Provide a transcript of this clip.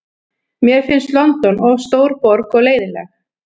Mér finnst London of stór borg og leiðinleg.